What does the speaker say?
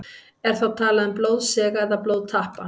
Er þá talað um blóðsega eða blóðtappa.